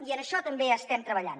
i en això també estem treballant